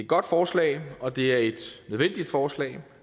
godt forslag og det er et nødvendigt forslag